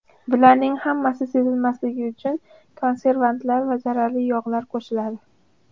Bularning hammasi sezilmasligi uchun konservantlar va zararli yog‘lar qo‘shiladi.